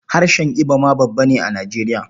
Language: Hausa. Harshen Ibo ma babba ne a Nijeriya.